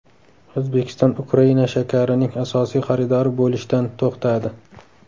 O‘zbekiston Ukraina shakarining asosiy xaridori bo‘lishdan to‘xtadi.